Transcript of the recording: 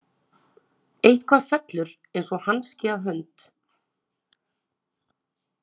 Eitthvað fellur eins og hanski að hönd